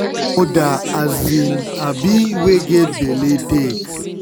wen moda um um wey get belle take